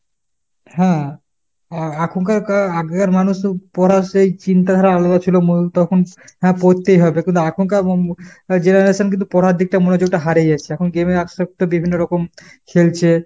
হ্যাঁ হ্যাঁ, এখনকার আগেকার মানুষ পড়ার সেই চিন্তাধারা আলাদা ছিল তখন সেই হ্যাঁ পড়তেই হবে। কিন্তু এখনকার উম generation কিন্তু পড়ার দিকটা মনোযোগটা হারিয়ে যাচ্ছে। এখন game এ আসক্ত বিভিন্ন রকম, খেলছে।